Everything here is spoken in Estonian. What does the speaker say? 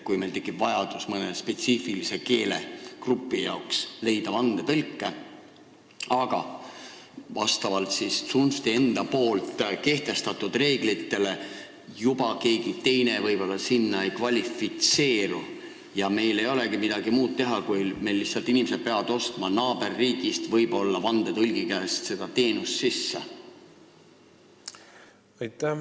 Kui meil tekib vajadus leida mõne spetsiifilise keelegrupi jaoks vandetõlke, aga vastavalt tsunfti enda kehtestatud reeglitele keegi teine võib-olla ei kvalifitseeru, siis meil ei olegi midagi teha, inimesed peavad lihtsalt naaberriigist seda vandetõlgiteenust sisse ostma.